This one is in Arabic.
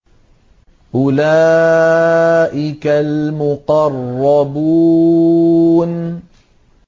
أُولَٰئِكَ الْمُقَرَّبُونَ